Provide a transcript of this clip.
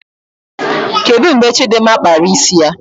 Kedụ mgbe Chidimma kpara isi ya?